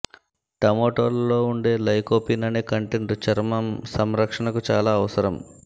టమోటోలలో ఉండే లైకోపిన్ అనే కంటెంట్ చర్మం సంరక్షణకు చాలా అవసరం